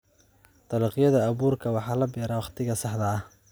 Dalagyada abuurka waxa la beeraa wakhtiga saxda ah.